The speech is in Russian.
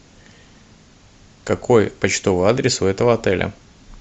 какой почтовый адрес у этого отеля